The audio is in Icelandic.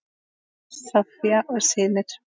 Soffía og synir.